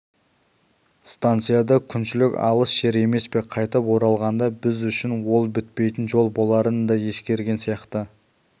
станция да күншілік алыс жер емес пе қайтып оралғанда біз үшін ол бітпейтін жол боларын да ескерген сияқты